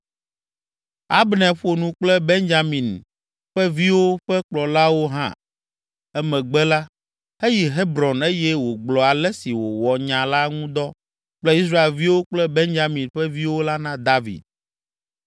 Abner ƒo nu kple Benyamin ƒe viwo ƒe kplɔlawo hã. Emegbe la, eyi Hebron eye wògblɔ ale si wòwɔ nya la ŋu dɔ kple Israelviwo kple Benyamin ƒe viwo la na David.